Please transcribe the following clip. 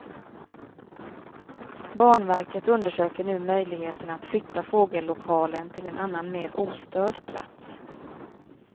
Banverket undersöker nu möjligheterna att flytta fågellokalen till en annan mer ostörd plats.